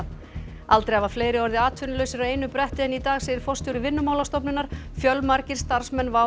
aldrei hafa fleiri orðið atvinnulausir á einu bretti en í dag segir forstjóri Vinnumálastofnunar fjölmargir starfsmenn WOW